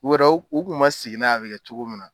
O yɛrɛ u kun man sigin n'a ye a bɛ kɛ cogo min na.